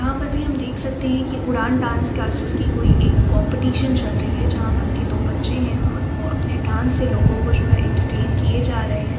यहाँ पर भी हम देख सकते हैं की उड़ान डांस क्लासेज की कोई एक कॉम्पीटीशन चल रही हैं। जहाँ पर के दो बच्चे हैं और वह अपने डांस से लोगो जो है एंटरटेन किये जा रहे हैं।